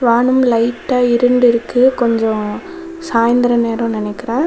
வானம் லைட்டா இருண்ட இருக்கு கொஞ்சோ சாய்ந்திர நேரோ நினைக்கிற.